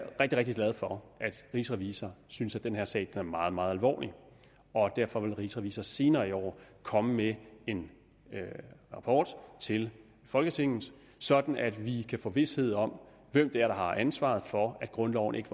rigtig rigtig glad for at rigsrevisor synes den her sag er meget meget alvorlig og derfor vil rigsrevisor senere i år komme med en rapport til folketinget sådan at vi kan få vished om hvem det er der har ansvaret for at grundloven ikke